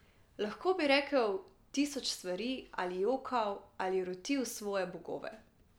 Lahko bi rekel tisoč stvari ali jokal ali rotil svoje bogove.